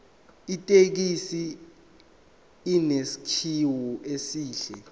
ithekisi inesakhiwo esihle